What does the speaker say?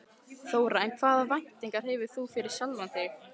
Þóra: En hvaða væntingar hefur þú fyrir sjálfan þig?